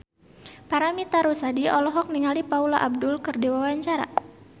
Paramitha Rusady olohok ningali Paula Abdul keur diwawancara